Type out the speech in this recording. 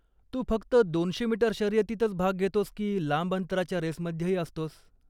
तू फक्त दोनशे मीटर शर्यतीतच भाग घेतोस की लांब अंतराच्या रेसमध्येही असतोस?